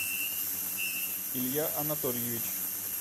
илья анатольевич